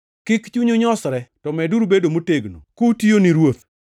Kik chunyu nyosre, to meduru bedo motegno, kutiyo ni Ruoth.